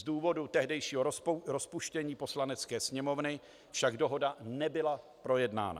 Z důvodu tehdejšího rozpuštění Poslanecké sněmovny však dohoda nebyla projednána.